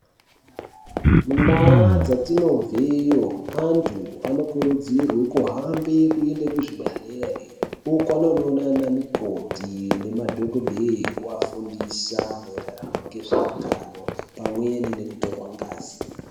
Mundaa dzatinobveyo antu anokurudzirwe kuhambe kuende kuzvibhedhlere uko anonoona ana mukoti nemadhokodheya oafundisa maererano ngezveutano pamwe ngekutorwa ngazi.